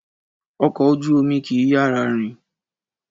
Ọkọ̀ ojú-omi kì í yára rìn